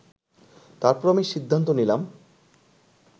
তারপর আমি সিদ্ধান্ত নিলাম